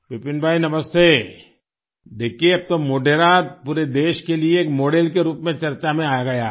विपिन भाई नमस्ते देखिये अब तो मोढेरा पूरे देश के लिए एक मॉडेल के रूप में चर्चा में आ गया है